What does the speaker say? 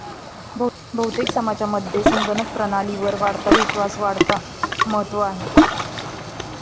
बहुतेक समाजांमध्ये संगणक प्रणालीवर वाढता विश्वास वाढता महत्व आहे.